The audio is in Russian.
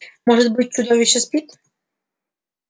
может быть чудовище спит